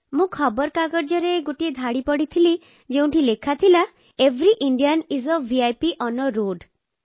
ମୁଁ ଖବରକାଗଜରେ ଗୋଟିଏ ଧାଡ଼ି ପଢ଼ିଥିଲି ଯେଉଁଠି ଲେଖାଥିଲା every Indian is a VIP on road